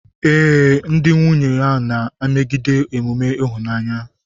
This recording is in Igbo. Ee, di na nwunye a na-emegide emume ịhụnanya.